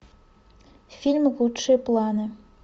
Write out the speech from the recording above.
фильм лучшие планы